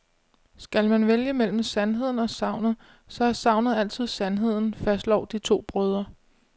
Skal man vælge mellem sandheden og sagnet, så er sagnet altid sandheden, fastslår de to brødre.